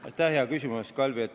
Aitäh hea küsimuse eest, Kalvi!